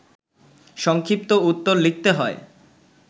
সংক্ষিপ্ত উত্তর লিখতে হয়